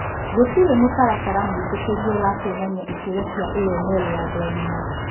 Gũtirĩ mũtaratara mũĩtĩkĩrie wa kũonania ikĩro cia AML ya andũ agima .